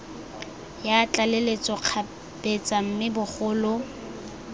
ya tlaleletso kgabetsa mme bogolo